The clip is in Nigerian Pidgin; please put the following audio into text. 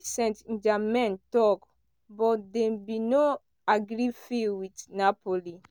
st germain tok but dem bin no agree fee wit napoli.